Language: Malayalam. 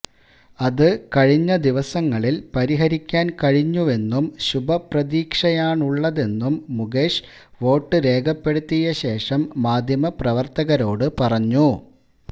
അത് കഴിഞ്ഞ ദിവസങ്ങളില് പരിഹരിക്കാന് കഴിഞ്ഞുവെന്നും ശുഭപ്രതീക്ഷയാണുള്ളതെന്നും മുകേഷ് വോട്ട് രേഖപ്പെടുത്തിയ ശേഷം മാധ്യമപ്രവര്ത്തകരോട് പറഞ്ഞു